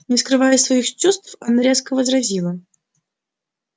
не скрывая своих чувств она резко возразила